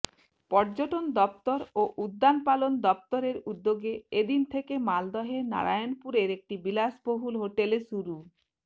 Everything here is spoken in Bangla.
পর্যটন দফতর ও উদ্যানপালন দফতরের উদ্যোগে এ দিন থেকে মালদহের নারায়ণপুরের একটি বিলাসবহুল হোটেলে শুরু